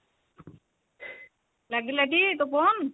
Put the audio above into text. ଲାଗିଲାଟି ତୋ phone?